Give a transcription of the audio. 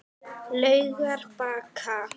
Laugarbakka